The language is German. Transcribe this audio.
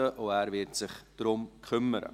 er wird sich darum kümmern.